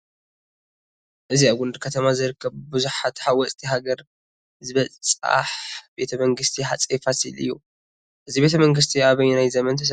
እዚ ኣብ ጎንደር ከተማ ዝርከብ ብብዙሓት ሃወፅቲ ሃገር ዝብፃሕ ቤተ መንግስቲ ሃፀይ ፋሲል እዩ፡፡ እዚ ቤተ መንግስቲ ኣበየናይ ዘመን ተሰሪሑ?